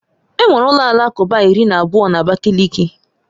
Enwere ụlọ alakụba iri na abụọ na Abakaliki